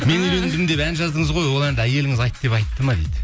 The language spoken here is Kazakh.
мен үйлендім деп ән жаздыңыз ғой ол әнді әйеліңіз айт деп айтты ма дейді